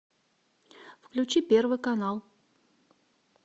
включи первый канал